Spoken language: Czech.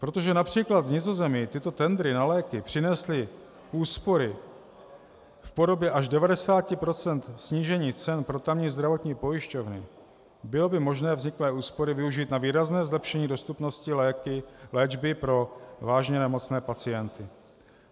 Protože například v Nizozemí tyto tendry na léky přinesly úspory v podobě až 90 % snížení cen pro tamní zdravotní pojišťovny, bylo by možné vzniklé úspory využít na výrazné zlepšení dostupnosti léčby pro vážně nemocné pacienty.